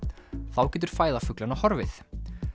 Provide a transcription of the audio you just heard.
þá getur fæða fuglanna horfið